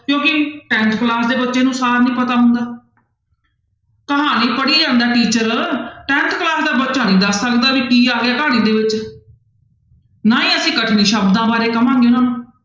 ਕਿਉਂਕਿ tenth class ਦੇ ਬੱਚੇ ਨੂੰ ਸਾਰ ਨੀ ਪਤਾ ਹੁੰਦਾ ਕਹਾਣੀ ਪੜ੍ਹੀ ਜਾਂਦਾ teacher tenth class ਦਾ ਬੱਚਾ ਨੀ ਦੱਸ ਸਕਦਾ ਵੀ ਕੀ ਆ ਗਿਆ ਕਹਾਣੀ ਦੇ ਵਿੱਚ ਨਾ ਹੀ ਅਸੀਂ ਕਠਿਨ ਸ਼ਬਦਾਂ ਬਾਰੇ ਕਹਾਂਗੇ ਉਹਨਾਂ ਨੂੰ।